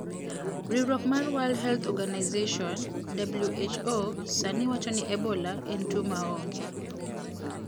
Riwruok mar World Health Organization (WHO) sani wacho ni Ebola en tuwo maonge.